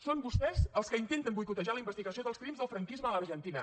són vostès els que intenten boicotejar la investigació dels crims del franquisme a l’argentina